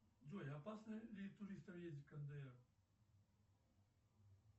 джой опасно ли туристам ездить в кндр